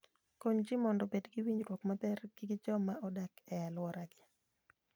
Kony ji mondo obed gi winjruok maber gi joma odak e alworagi.